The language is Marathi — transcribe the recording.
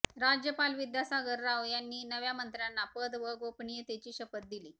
राज्यपाल विद्यासागर राव यांनी नव्या मंत्र्यांना पद व गोपनीयतेची शपथ दिली